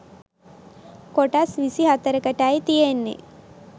කොටස් විසි හතරකටයි තියෙන්නේ